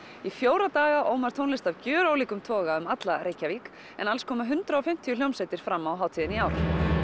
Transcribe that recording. í fjóra daga Ómar tónlist af gjörólíkum toga um alla Reykjavík en alls koma hundrað og fimmtíu hljómsveitir fram á hátíðinni í ár